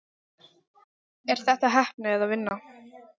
Er þetta heppni eða vinna?